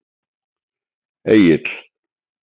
Egill